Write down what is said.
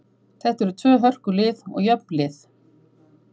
Þetta eru tvö hörku lið og jöfn lið.